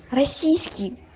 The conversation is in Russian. российский